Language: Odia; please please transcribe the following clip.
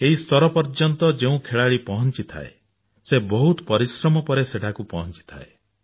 ଏହି ସ୍ତର ପର୍ଯ୍ୟନ୍ତ ଯେଉଁ ଖେଳାଳି ପହଞ୍ଚିଥାଏ ସେ ବହୁତ ପରିଶ୍ରମ ପରେ ସେଠାକୁ ପହଞ୍ଚିଥାଏ